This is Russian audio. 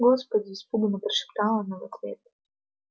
господи испуганно прошептала она в ответ